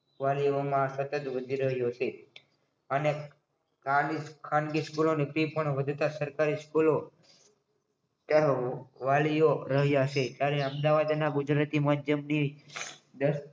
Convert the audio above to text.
વાલીઓમાં સતત વધી રહ્યો છે અને ખાનગી સ્કૂલ ફી વધતા સરકારી સ્કૂલો વાલીઓ રહ્યા છે ત્યારે અમદાવાદ અને ગુજરાતી માધ્યમની